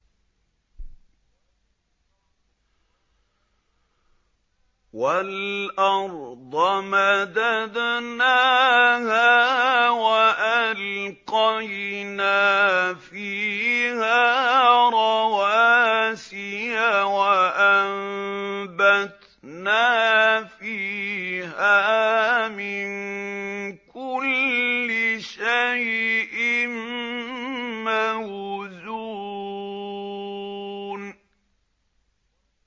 وَالْأَرْضَ مَدَدْنَاهَا وَأَلْقَيْنَا فِيهَا رَوَاسِيَ وَأَنبَتْنَا فِيهَا مِن كُلِّ شَيْءٍ مَّوْزُونٍ